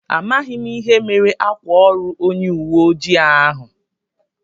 Amághi m ihe mere ákwà órù onye uwe ojii ahụ